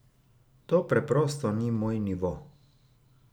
To preprosto ni moj nivo!